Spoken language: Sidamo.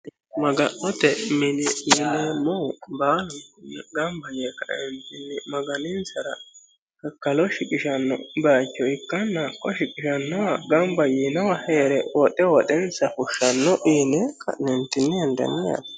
maga'note mini yineemmohu baalu gamba yee kaeentinni maganinsara kakkalo shiqishanno base ikkanna hakko shiqishannowa gamba yinowa here woxe woxensa fushshsanno yine hendeemmo yaate.